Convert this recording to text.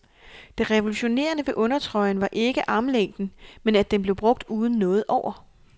Det revolutionerende ved undertrøjen var ikke ærmelængden, men at den blev brugt uden noget over.